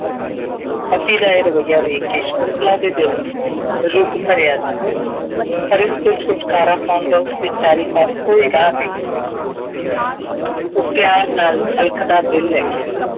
ਪਤੀ ਦਾ ਇਹ ਰਵੱਈਆ ਵੇਖ ਕੇ ਸ਼ੰਕੁਤਲਾ ਦੇ ਦਿਲ ਚ ਰੁੱਗ ਭਰਿਆ ਜਾਂਦਾ ਸੀ। ਪਰ ਇਸ ਤੋਂ ਛੁਟਕਾਰਾ ਪਾਉਣ ਦਾ ਉਸ ਵਿਚਾਰੀ ਪਾਸ ਕੋਈ ਰਾਹ ਨਹੀਂ ਸੀ। ਉਹ ਪਿਆਰ ਨਾਲ ਛਲਕਦਾ ਦਿਲ ਲੈ ਕੇ